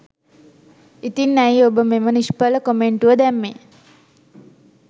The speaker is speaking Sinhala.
ඉතින් ඇයි ඔබ මෙම නිශ්ඵල කොමෙන්‍ටුව දැම්මේ?